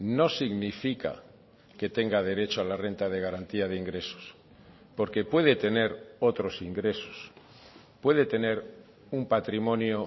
no significa que tenga derecho a la renta de garantía de ingresos porque puede tener otros ingresos puede tener un patrimonio